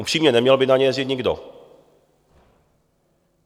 Upřímně, neměl by na ně jezdit nikdo.